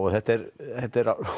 þetta er þetta er